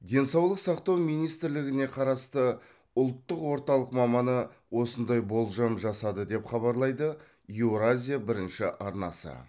денсаулық сақтау министрлігіне қарасты ұлттық орталық маманы осындай болжам жасады деп хабарлайды еуразия бірінші арнасы